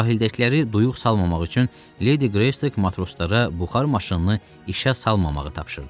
Sahildəkiləri duyuq salmamaq üçün Ledi Qreystok matroslara buxar maşınını işə salmamağı tapşırdı.